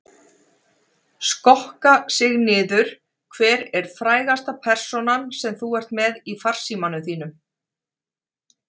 Skokka sig niður Hver er frægasta persónan sem þú ert með í farsímanum þínum?